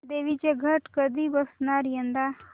देवींचे घट कधी बसणार यंदा